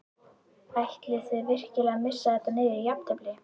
Ætlið þið virkilega að missa þetta niður í jafntefli?